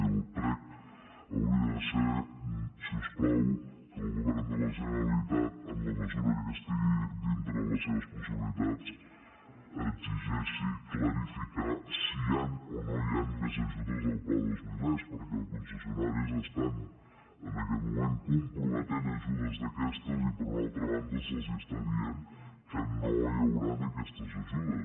i el prec hauria de ser si us plau que el govern de la generalitat en la mesura que estigui dintre de les seves possibilitats exigeixi clarificar si hi han o no hi han més ajudes al pla dos mil e perquè els concessionaris estan en aquest moment comprometent ajudes d’aquestes i per una altra banda se’ls està dient que no hi hauran aquestes ajudes